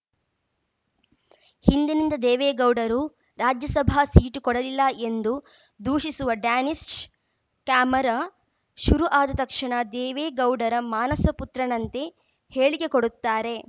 ಹಿಂದಿನಿಂದ ದೇವೇಗೌಡರು ರಾಜ್ಯಸಭಾ ಸೀಟು ಕೊಡಲಿಲ್ಲ ಎಂದು ದೂಷಿಸುವ ಡ್ಯಾನಿಷ್‌ ಕ್ಯಾಮೆರಾ ಶುರು ಆದ ತಕ್ಷಣ ದೇವೇಗೌಡರ ಮಾನಸ ಪುತ್ರನಂತೆ ಹೇಳಿಕೆ ಕೊಡುತ್ತಾರೆ